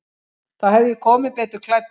Þá hefði ég komið betur klæddur.